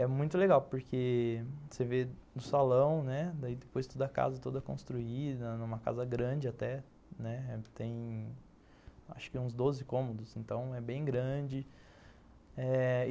É muito legal, porque você vê o salão, né, daí depois toda a casa toda construída, é uma casa grande até, né, tem acho que uns doze cômodos, então é bem grande. Eh...